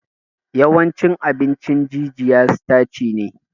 Yawancin abin jijiya sitaci ne